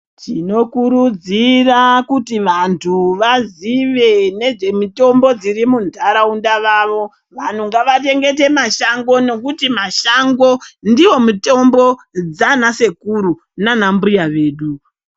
Ndinokurudzira kuti vanthu vazive nezvemitombo dziri muntharaunda mavo vanhu ngavachengete mashango nekuti mashango ndiwo mitombo dzana sekuru nana mbuya vedu.